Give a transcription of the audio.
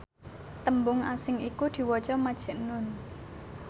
tembung asing iku diwaca majnun